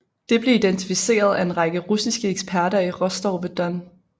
Det blev identificeret af en række russiske eksperter i Rostov ved Don